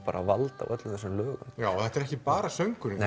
vald á öllum þessum lögum já og þetta er ekki bara söngurinn